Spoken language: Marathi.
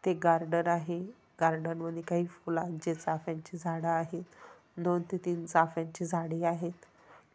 इथे एक गार्डन आहे गार्डन मध्ये काही फुलांचे चाफ्यांची झाड आहेत. दोन ते तीन चाफ्यांची झाडे आहेत.